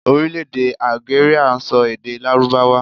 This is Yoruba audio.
Orílèdè Algeria n so èdè lárúbáwá